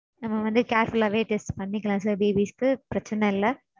நம்ம வந்து careful ஆவே test பண்ணிக்கலாம் sir babies க்கு பிரச்சினை இல்ல.